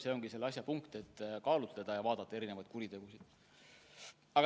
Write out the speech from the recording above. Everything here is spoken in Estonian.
See ongi selle asja mõte, et tuleb kaalutleda ja vaadata konkreetset kuritegu.